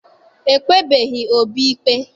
E kpebeghị Obi ikpe.